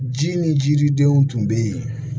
Ji ni jiridenw tun bɛ yen